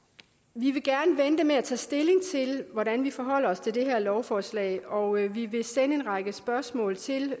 vi vil gerne vente med at tage stilling til hvordan vi forholder os til det her lovforslag og vi vil sende en række spørgsmål til